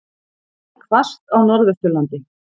Hvasst á Norðvesturlandi